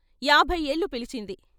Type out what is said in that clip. యాభై ఏళ్ళు పిలిచింది.